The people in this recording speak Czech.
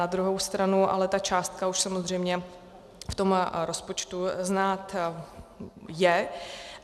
Na druhou stranu ale ta částka už samozřejmě v tom rozpočtu znát je.